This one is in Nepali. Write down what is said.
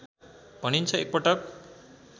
भनिन्छ एकपटक